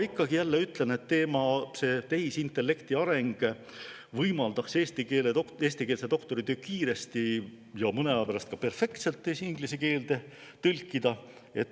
Ikkagi jälle ütlen, et tehisintellekti areng võimaldaks eestikeelse doktoritöö kiiresti ja mõne aja pärast ka perfektselt inglise keelde tõlkida.